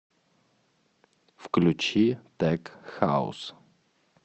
включи тек хаус